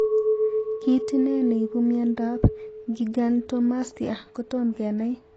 Kit ine neipu miondap gigantomastia kotom kenai.